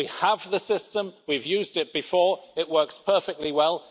We have the system, we've used it before, it works perfectly well.